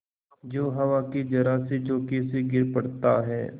जो हवा के जरासे झोंके से गिर पड़ता है